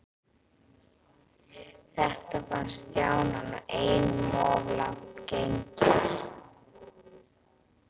Þetta fannst Stjána nú einum of langt gengið.